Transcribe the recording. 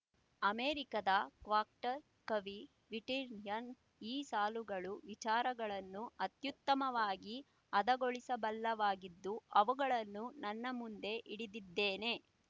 ಅಮೇರಿಕದ ಕ್ವಾಕ್ಟರ್ ಕವಿ ವಿಟಿಯರ್‍ನ ಈ ಸಾಲುಗಳು ವಿಚಾರಗಳನ್ನು ಅತ್ಯುತ್ತಮವಾಗಿ ಹದಗೊಳಿಸಬಲ್ಲವಾಗಿದ್ದು ಅವುಗಳನ್ನು ನನ್ನ ಮುಂದೆ ಹಿಡಿದಿದ್ದೇನೆ